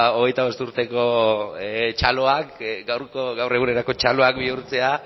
hogeita bost urteko txaloak gaur egunerako txaloak bihurtzea